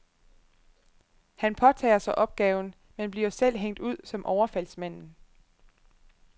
Han påtager sig opgaven, men bliver selv hængt ud som overfaldsmanden.